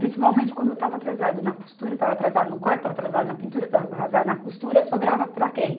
Principalmente quando eu estava atrasada na costura, estava atrasada no corte, estava atrasada na pintura, estava atrasada na costura, sobrava para quem?